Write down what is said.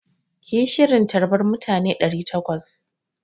Ki yi shirin tarbar mutane ɗari takwas!